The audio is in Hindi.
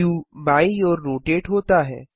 व्यू बायीं ओर रोटेट होता है